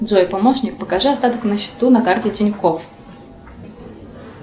джой помощник покажи остаток на счету на карте тинькофф